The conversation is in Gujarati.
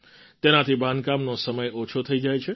તેનાથી બાંધકામનો સમય ઓછો થઈ જાય છે